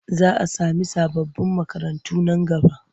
Za a samu sababbin makarantu nan gaba.